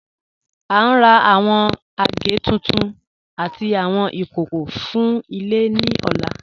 À ń rà awọn agẹ̀ tuntun àtì awọn ikókó fún ilẹ̀ ni ọ̀là.